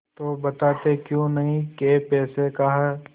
तो बताते क्यों नहीं कै पैसे का है